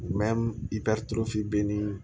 i bɛ turu fi bɛ ni